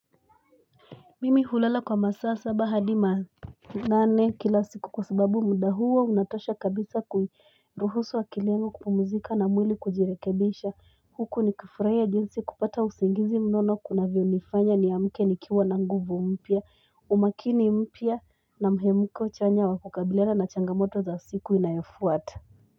Mimi hulala kwa masaa saba hadi nane kila siku kwa sababu muda huo unatosha kabisa kui ruhusu akili yangu kupumuzika na mwili kujirekebesha huku nikifurahia jinsi kupata usingizi mnono kunavyo nifanya ni amke nikiwa na nguvu mpya umakini mpya na mhemuko chanya wa kukabiliana na changamoto za siku inayofuata.